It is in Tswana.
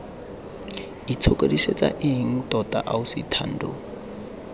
itshokodisetsa eng tota ausi thando